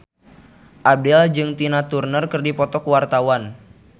Abdel jeung Tina Turner keur dipoto ku wartawan